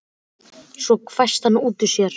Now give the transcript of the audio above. Svo hvæsti hann út úr sér